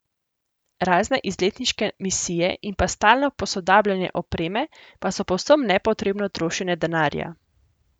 Razne izletniške misije in pa stalno posodabljanje opreme pa so povsem nepotrebno trošenje denarja.